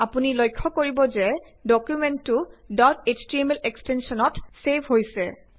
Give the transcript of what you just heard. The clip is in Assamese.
আপুনি লক্ষ্য কৰিব যে ডকুমেন্টতো ডট এছটিএমএল এক্সটেঞ্চনত ছেভ হৈছে